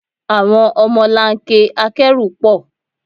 Àwọn ọmọlanke akẹ́rù pọ̀.